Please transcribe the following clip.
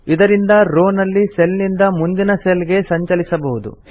ಇದರಿಂದ ರೋ ನಲ್ಲಿ ಸೆಲ್ ನಿಂದ ಮುಂದಿನ ಸೆಲ್ ಗೆ ಸಂಚಲಿಸಬಹುದು